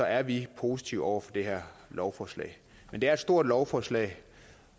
er vi positive over for det her lovforslag men det er et stort lovforslag